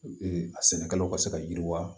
a sɛnɛkɛlaw ka se ka yiriwa